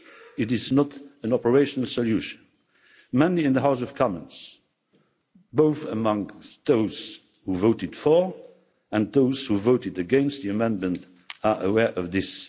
It is not an operational solution. Many in the House of Commons, both amongst those who voted for and those who voted against the amendment are aware of this.